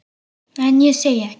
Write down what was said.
En ég segi ekkert.